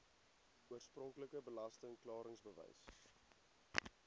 oorspronklike belasting klaringsbewys